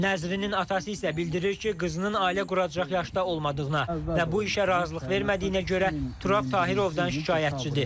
Nəzrinin atası isə bildirir ki, qızının ailə quracaq yaşda olmadığına və bu işə razılıq vermədiyinə görə Turab Tahirovdan şikayətçidir.